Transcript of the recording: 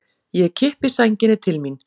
Ég kippi sænginni til mín.